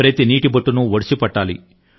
ప్రతి నీటి బొట్టును ఒడిసిపట్టాలి